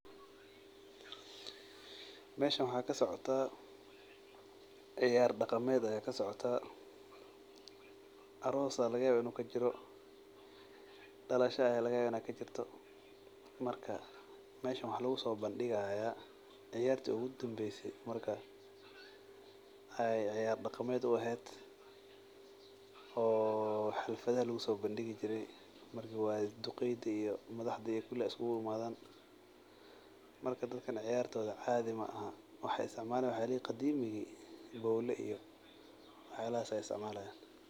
Meshan waxaa kasocotah , ciyar daqamed ayaa kasocotaah aross aa lagayabah in ay kajirto , dalasha aa lagayaba in ay kajirto , waxaa lugusobandigaya ciyarta ugudambeyse marka ay ciyar daqamed uehed oo xafladah lugusobandigi jire oo duqeydi iyo bilcanta iyo kuli ay iskuguimadan marka dadkan ciyartoda caadi maaha waxay isticmalayan waxyalaha qadimigi , bowla iyo waxyalahas ay isticmalayan.